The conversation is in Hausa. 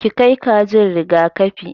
Ki kai kajin riga-kafi!